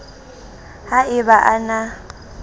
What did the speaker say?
ha e ba a na